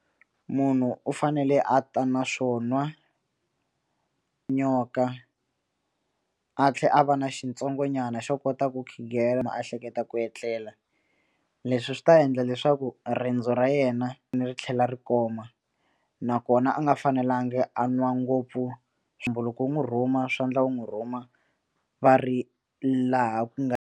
Munhu u fanele a ta na swo nwa nyoka a tlhela a va na xintsongonyana xo kota ku khighela a hleketa ku etlela leswi swi ta endla leswaku riendzo ra yena ni ri tlhela ri koma nakona a nga fanelangi a nwa ngopfu tumbuluko wu n'wu rhuma swa endla wu n'wu rhuma va ri laha ku nga.